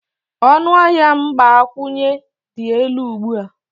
ọnụ ahịa mgbakwunye dị elu ugbu a